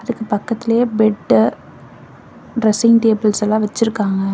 அதுக்கு பக்கத்துலயே bed dressing tables எல்லாம் வச்சிருக்காங்க.